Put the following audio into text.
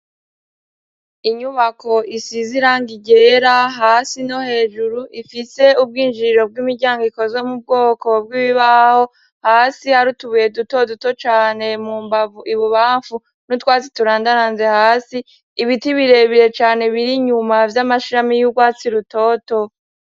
Inyubako isiziranga igera hasi no hejuru ifise ubwinjiriro bw'imiryango ikozwe mu bwoko bw'ibbaho hasi hariutubuye dutoduto cane mu mbavu ibubamfu n'utwatsi turandaranze hasi ibiti birebire cane biri inyuma vy'amashirami y'urwatsi rutoto.